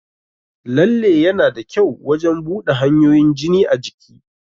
Lalle yana da kyau wajan buɗa hanyoyin jini a jiki